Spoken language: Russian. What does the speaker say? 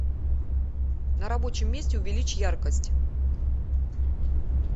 на рабочем месте увеличь яркость